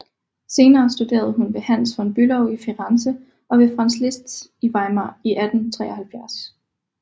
Senere studerede hun ved Hans von Bülow i Firenze og ved Franz Liszt i Weimar i 1873